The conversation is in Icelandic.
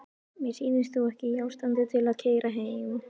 Mér sýnist þú ekki í ástandi til að keyra heim.